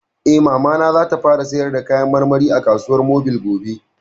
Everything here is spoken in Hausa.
Eh, Mamana za ta fara sayar da kayan marmari a kasuwar mobil gobe